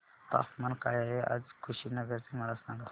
तापमान काय आहे आज कुशीनगर चे मला सांगा